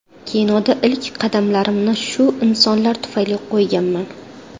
Kinoda ilk qadamlarimni shu insonlar tufayli qo‘yganman.